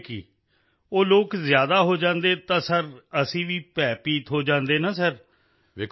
ਸਮਝਾਈਏ ਕੀ ਉਹ ਲੋਕ ਜ਼ਿਆਦਾ ਹੋ ਜਾਂਦੇ ਨੇ ਤਾਂ ਸਰ ਅਸੀਂ ਵੀ ਭੈਭੀਤ ਹੋ ਜਾਂਦੇ ਨਾ ਸਰ